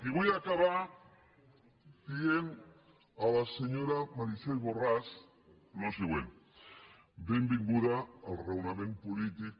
i vull acabar dient a la senyora meritxell borràs el següent benvinguda al raonament polític